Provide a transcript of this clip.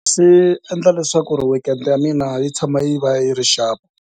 Swiendla leswaku weekend ya mina yi tshama yi va yi ri xap.